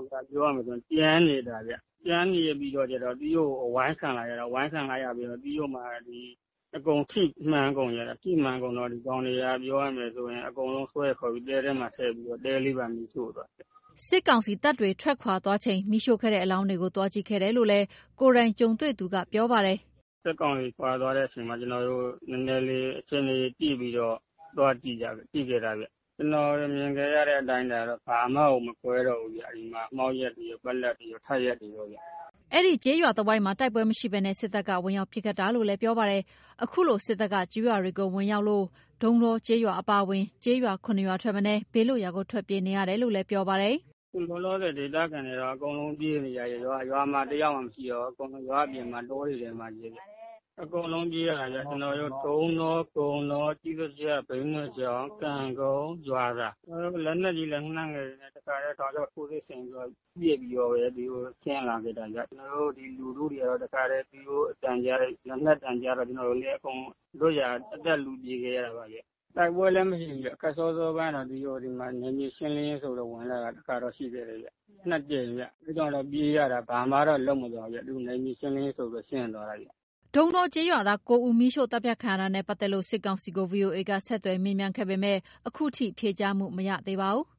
က်က ပြောရမယ်ဆိုရင် ကျန်နေတာ၊ ကျန်နေပြီးတော့ကျတော့ သူတို့ အဝိုင်းခံလိုက်ရတာ၊ အဝိုင်းခံလိုက်ရပြီးတော့မှ အကုန်ထိမှန်ကုန်ကြတာ၊ ထိမှန်ကုန်တော့ ဒီကောင်တွေက ပြောရမယ်ဆိုရင် အကုန်လုံးဆွဲခေါ်ပြီး တဲထဲမှာ ထည့်ပြီးတော့ တဲလေးပါ မီးရှို့သွားခဲ့တယ်။” စစ်ကောင်စီတပ်တွေ ထွက်ခွာသွားချိန် မီးရှို့ခဲ့တဲ့ အလောင်းတွေကို သွားကြည့်ခဲ့တယ်လို့ ကိုယ်တိုင်ကြုံတွေ့သူက ပြောပါတယ်။ “စစ်ကောင်စီခွာသွားတဲ့အချိန်မှာ ကျနော်တို့ နည်းနည်းလေး အခြေအနေကြည့်တော့ သွားကြခဲ့တာဗျ။ ကိုယ်မြင်ခဲ့ရတဲ့ အတိုင်းအတာတော့ (ရုပ်အလောင်းတွေ) ဘာမှကို မကွဲတော့ဘူးဗျ။ အဲ့ဒီမှာ မှောက်လျက်တွေရော ပက်လက်တွေရော ထပ်လျက်တွေရောဗျ။” အဲ့ဒီကျေးရွာတဝိုက်မှာ တိုက်ပွဲမရှိဘဲ စစ်တပ်က ဝင်ရောက်ပစ်ခတ်တာလို့ ပြောပါတယ်။ အခုလို စစ်တပ်က ကျေးရွာတွေကို ဝင်ရောက်လို့ ဒုန်းတောကျေးရွာ အပါအဝင် ကျေးရွာ ၇ ရွာထက်နည်း ဘေးလွတ်ရာကို ထွက်ပြေးနေကြရတယ်လို့ ပြောပါတယ်။ “အခုလောလောဆယ် ဒေသခံတွေက အကုန်လုံး ပြေးနေကြရတယ်။ ရွာမှာ တယောက်မှ မရှိတော့ဘူး၊ အကုန်လုံး ရွာအပြင်မှာ တောတွေထဲမှာပဲဗျ၊ အကုန်လုံးပြေးရတာဗျ။ ကျနော်တို့ ဒုန်းတော၊ ကုန်းတော၊ ကျေးစာကျ၊ ဘိန်းနွယ်ချောင်း၊ ကံကုန်း၊ ရွာသာ၊ ကျနော်တို့ လက်နက်ကြီး လက်နက်ငယ်တွေနဲ့ တခါတည်း တောက်လျှောက် ထိုးစစ်ဆင်ပြီး ပစ်ပြီးတော့ ဒီကိုဆင်းလာခဲ့တာဗျ။ ကျနော်တို့ ဒီလူထုတွေကတော့ တခါတည်း သူတို့အသံကြားတယ် လက်နက်သံကြားတော့ ကျနော်တို့လည်း အကုန် လွတ်ရာကို အသက်လု ပြေးခဲ့ရတာပါဗျ။ တိုက်ပွဲလည်းမရှိဘူးဗျ။ ခတ်စောစောအပိုင်းကတော့ ဒီမှာ နယ်မြေရှင်းလင်းရေးဆိုပြီး ဝင်လာတာ တခါတော့ ရှိခဲ့တယ်ဗျ။ နှစ်ကြိမ်ဗျ အဲ့တုန်းက ပြေးရတာ ဘာမှတော့ လုပ်မသွားဘူးဗျ။ သူ့နယ်မြေရှင်းလင်းရေးဆိုပြီး ရှင်းသွားတာဗျ။” ဒုန်းတောကျေးရွာသား ၉ ဦး မီးရှို့သတ်ဖြတ်ခံရတာနဲ့ ပတ်သက်လို့ စစ်ကောင်စီကို ဗွီအိုအေက ဆက်သွယ်မေးမြန်းခဲ့ပေမယ့် အခုထိ ဖြေကြားမှု မရခဲ့ပါဘူး။